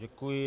Děkuji.